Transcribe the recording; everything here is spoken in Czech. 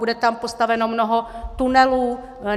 Bude tam postaveno mnoho tunelů.